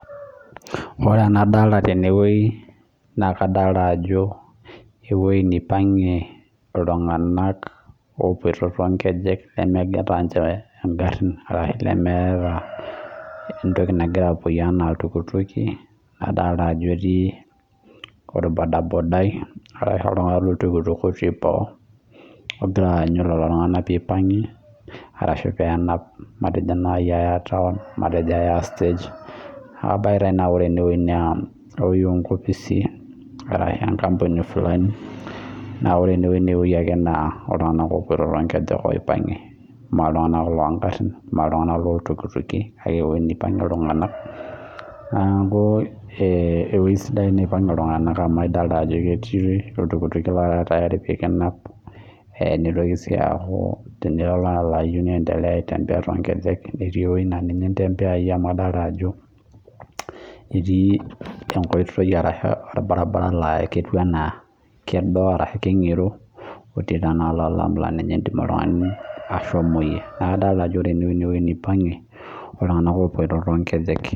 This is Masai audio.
koree enadolita tene naa ewueji naipaingie iltunganak too nkejek lemeata ninche igarin arasho nemeata ninche iltukutuki naadolita ajo ketii orbodabodai otii boo ogiraa aanyuu lelo tengunak peeyie ipangie arashoo peenap ninchee ayaa town enkopisi arasho enkampuni fulani niakuu ewuei sidai